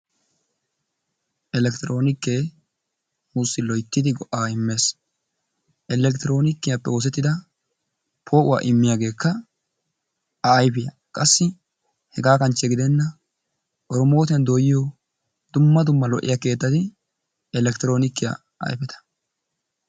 Elekkitiroonike nuussi loyittidi go'aa immes. Elekkitiroonikiyappe oosettida poo'uwa immiyageekka a ayifiya. Qassi hegaa kanchche gidenna erimotiyan dooyiyo dumma dumma lo'iya keettati elekkitiroonikiya ayifeta.